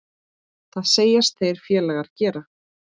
Það segjast þeir félagar gera.